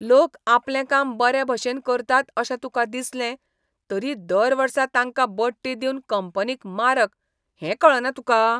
लोक आपलें काम बरे भशेन करतात अशें तुका दिसलें, तरी दर वर्सा तांकां बडटी दिवप कंपनीक मारक हें कळना तुका?